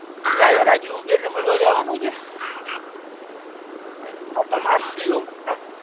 હો ચાલે રજુ ઉબેર ને મળવા જવાનું છે માર છુ